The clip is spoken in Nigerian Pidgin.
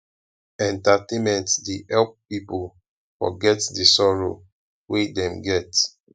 entertainment dey help pipo forget di sorrow wey dem get